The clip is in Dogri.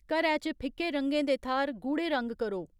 घरै च फिक्के रंगें दे थाह्र गूढ़े रंग करो